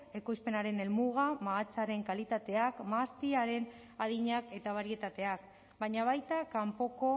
ekoizpenaren helmugak mahatsaren kalitateak mahastiaren adinak eta barietateak baina baita kanpoko